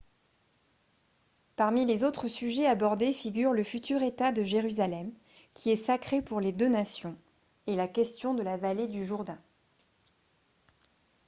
parmi les autres sujets abordés figurent le futur état de jérusalem qui est sacré pour les deux nations et la question de la vallée du jourdain